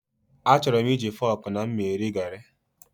Achọrọ m iji fọọkụ na mma eri gari.